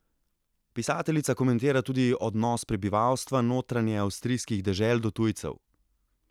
Pisateljica komentira tudi odnos prebivalstva notranjeavstrijskih dežel do tujcev.